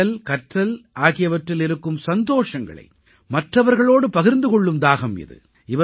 படித்தல்கற்றல் ஆகியவற்றில் இருக்கும் சந்தோஷங்களை மற்றவர்களோடு பகிர்ந்து கொள்ளும் தாகம் இது